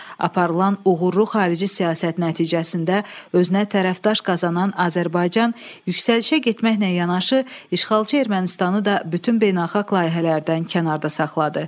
Aparılan uğurlu xarici siyasət nəticəsində özünə tərəfdaş qazanan Azərbaycan yüksəlişə getməklə yanaşı, işğalçı Ermənistanı da bütün beynəlxalq layihələrdən kənarda saxladı.